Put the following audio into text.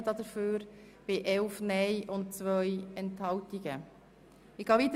Wenn ja, hat dieser 134 Ja-, 11 Nein-Stimmen und 2 Enthaltungen erhalten.